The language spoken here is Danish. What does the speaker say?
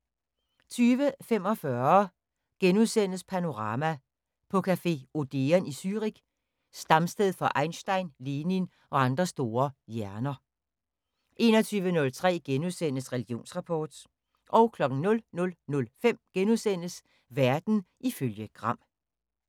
20:45: Panorama: På café Odeon i Zürich, stamsted for Einstein, Lenin og andre store hjerner * 21:03: Religionsrapport * 00:05: Verden ifølge Gram *